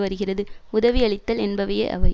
வருகிறது உதவி அளித்தல் என்பவையே அவை